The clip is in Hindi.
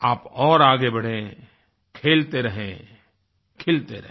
आप और आगे बढ़ें खेलते रहें खिलते रहें